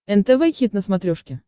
нтв хит на смотрешке